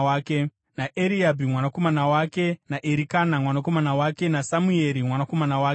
naEriabhi mwanakomana wake, Jerohamu mwanakomana wake, naErikana mwanakomana wake, naSamueri mwanakomana wake,